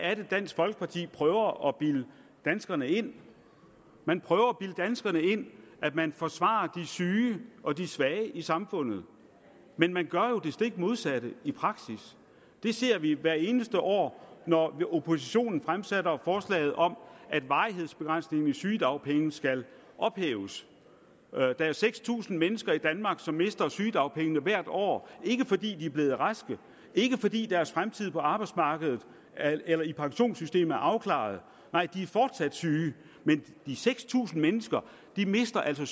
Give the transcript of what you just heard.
er det dansk folkeparti prøver at bilde danskerne ind man prøver at bilde danskerne ind at man forsvarer de syge og de svage i samfundet men man gør jo det stik modsatte i praksis det ser vi hvert eneste år når oppositionen fremsætter forslaget om at varighedsbegrænsningen på sygedagpenge skal ophæves der er seks tusind mennesker i danmark som mister sygedagpengene hvert år ikke fordi de er blevet raske ikke fordi deres fremtid på arbejdsmarkedet eller i pensionssystemet er afklaret nej de er fortsat syge men de seks tusind mennesker mister altså